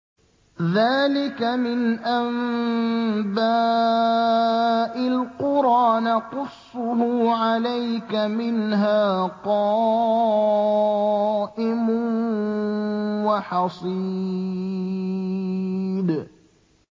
ذَٰلِكَ مِنْ أَنبَاءِ الْقُرَىٰ نَقُصُّهُ عَلَيْكَ ۖ مِنْهَا قَائِمٌ وَحَصِيدٌ